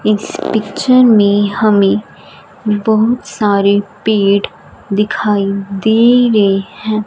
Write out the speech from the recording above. इस पिक्चर में हमें बहुत सारे पेड़ दिखाई दे रहे हैं।